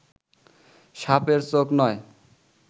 সাপের চোখ নয়